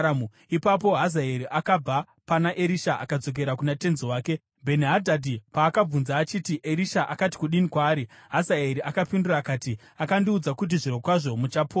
Ipapo Hazaeri akabva pana Erisha akadzokera kuna tenzi wake. Bheni-Hadhadhi paakabvunza achiti, “Erisha akati kudini kwauri?” Hazaeri akapindura akati, “Akandiudza kuti zvirokwazvo muchapora.”